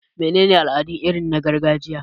Mene ne al'adu irin na gargajiya?